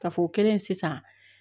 Ka fɔ o kɛlen sisan